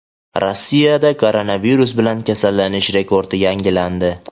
Rossiyada koronavirus bilan kasallanish rekordi yangilandi.